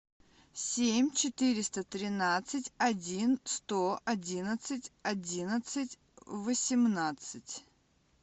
семь четыреста тринадцать один сто одиннадцать одиннадцать восемнадцать